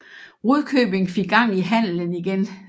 Rudkøbing fik gang i handelen igen